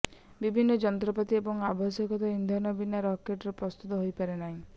ବିଭିନ୍ନ ଯନ୍ତ୍ରପାତି ଏବଂ ଆବଶ୍ୟକୀୟ ଇନ୍ଧନ ବିନା ରକେଟଟିଏ ପ୍ରସ୍ତୁତ ହୋଇପାରେନାହିଁ